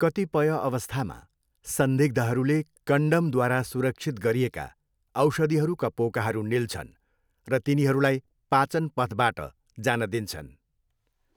कतिपय अवस्थामा, संदिग्धहरूले कन्डमद्वारा सुरक्षित गरिएका औषधिहरूका पोकाहरू निल्छन् र तिनीहरूलाई पाचन पथबाट जान दिन्छन्।